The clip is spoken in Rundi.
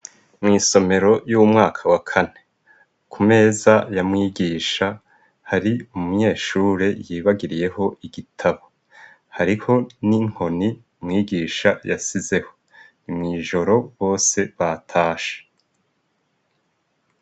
Mwiisomero y'umwaka wa kane kumeza ya mwigisha hari umunyeshure yibagiriyeho igitabo, hariho n'inkoni mwigisha yasizeho ni mwijoro bose batashe.